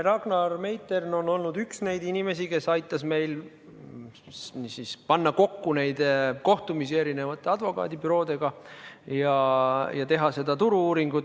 Ragnar Meitern on olnud üks neid inimesi, kes aitas meil panna kokku kohtumisi erinevate advokaadibüroodega ja teha seda turu-uuringut.